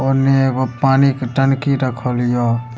ओने एगो पानी के टंकी रखल हियो।